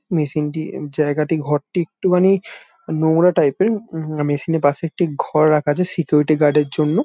মেশিনটি জায়গাটি ঘরটি একটু খানি নোংরা টাইপ এর। উম মেশিন এর পশে একটি ঘর রাখা আছে সিকিউরিটি গার্ডের জন্য।